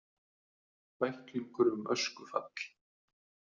Bæklingur um öskufall